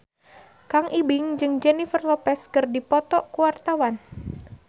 Kang Ibing jeung Jennifer Lopez keur dipoto ku wartawan